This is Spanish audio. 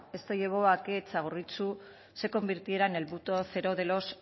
esto llevó a que txagorritxu se convirtiera en el punto cero de los